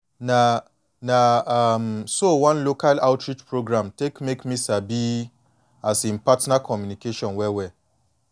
na na um so one local outreach program take make me sabi um partner communication well well